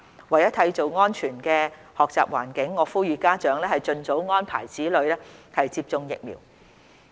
為締造安全學習環境，我呼籲家長盡早安排子女接種疫苗。